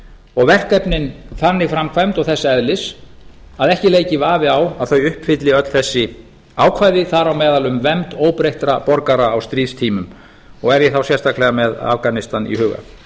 og verkefnin þannig framkvæmd og þess eðlis að ekki leiki vafi á að þau uppfylli öll þessi ákvæði þar á meðal um vernd óbreyttra borgara á stríðstímum og er ég þá sérstaklega með afganistan í huga